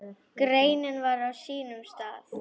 Greinin var á sínum stað.